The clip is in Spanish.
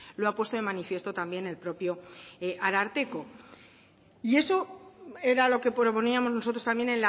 lo ha puesto de manifiesto también el propio ararteko y eso era lo que proponíamos nosotros también